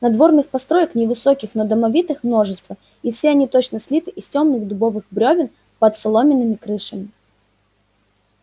надворных построек невысоких но домовитых множество и все они точно слиты из тёмных дубовых брёвен под соломенными крышами